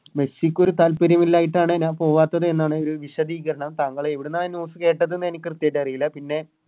മെസ്സിക്കൊരു താൽപ്പര്യം ഇല്ലായിട്ടാണ് ഞാൻ പോകാത്തത് എന്നാണ് ഒരു വിശദീകരണം താങ്കള് എവിടുന്നാ ഈ News കേട്ടത്ന്ന് എനിക്ക് കൃത്യായിട്ട് അറീല്ല പിന്നെ